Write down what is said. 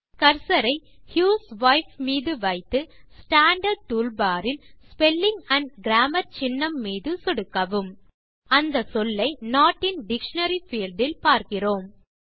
cursor ஐ ஹியூஸ்வைப் மீது வைத்து ஸ்டாண்டார்ட் டூல் பார் இல் ஸ்பெல்லிங் ஆண்ட் கிராமர் சின்னம் மீது சொடுக்கவும் அந்த சொல்லை நோட் இன் டிக்ஷனரி பீல்ட் இல் பார்க்கிறோம்